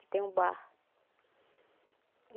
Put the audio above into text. Que tem um bar.